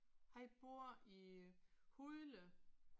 Han bor i Hundelev